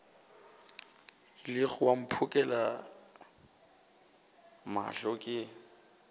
kilego wa mphokela mohla ke